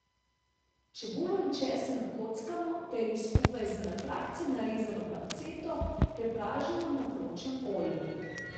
Čebulo in česen nakockamo ter ju skupaj z na trakce narezano panceto prepražimo na vročem olju.